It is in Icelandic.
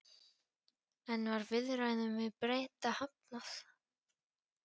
En var viðræðum við Breta hafnað?